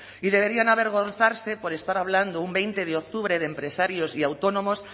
y deberían avergonzarse por estar hablando un veinte de octubre de empresarios y autónomos